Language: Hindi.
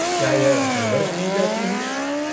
क्या यह हर वर्ष दी जाती है?